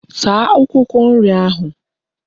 Saa Akwukwo nri ahu